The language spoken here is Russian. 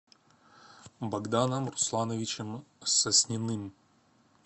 богданом руслановичем сосниным